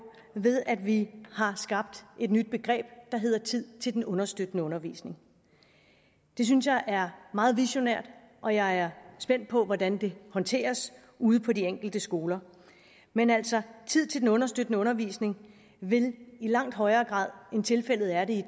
ved at vi har skabt et nyt begreb der hedder tid til den understøttende undervisning det synes jeg er meget visionært og jeg er spændt på hvordan det håndteres ude på de enkelte skoler men altså tid til den understøttende undervisning vil i langt højere grad end tilfældet er i